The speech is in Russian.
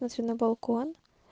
лучше на балкон